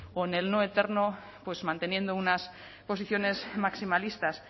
o en el no eterno manteniendo unas posiciones maximalistas